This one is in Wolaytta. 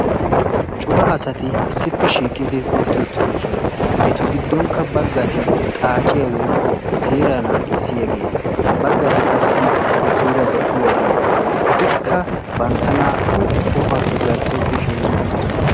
cora asati issippe shiiqidi utti uttiisona. etu giddonkka baggati xaaciya woykko seeraa naagissiyageeta. baggati qassi etuura de'iyageeta. etikka qassi bantta naa"u tohuwappe garssawu kushiya yeggi uttidosona.